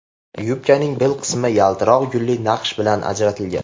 Yubkaning bel qismi yaltiroq gulli naqsh bilan ajratilgan.